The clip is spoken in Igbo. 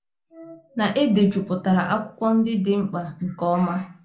na e dejupụtara akwụkwọ ndị dị mkpa nke ọma